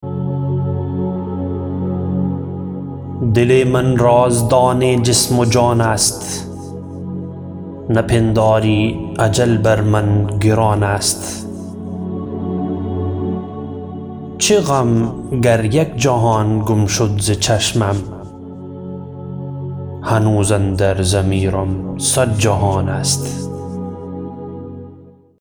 دل من رازدان جسم و جان است نپنداری اجل بر من گران است چه غم گر یک جهان گم شد ز چشمم هنوز اندر ضمیرم صد جهان است